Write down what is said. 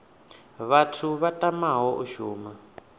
vhathu vha tamaho u shuma